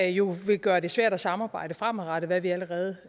jo vil gøre det svært at samarbejde fremadrettet hvad vi allerede